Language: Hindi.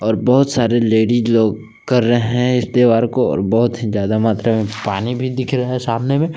और बहोत सारे लेडिस लोग कर रहे हैं इस त्यौहार को और बहोत ही ज्यादा मात्रा में पानी भी दिख रहा है सामने में--